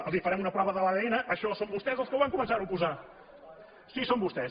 home els farem una prova de l’adn això són vostès els que van començar ho a posar sí són vostès